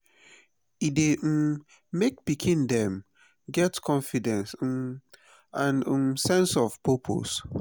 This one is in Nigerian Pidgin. e dey um make pikin dem get confidence um and um sense of purpose